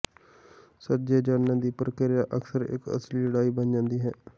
ਸੱਜੇ ਜਾਣਨ ਦੀ ਪ੍ਰਕਿਰਿਆ ਅਕਸਰ ਇੱਕ ਅਸਲੀ ਲੜਾਈ ਬਣ ਜਾਂਦੀ ਹੈ